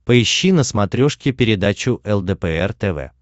поищи на смотрешке передачу лдпр тв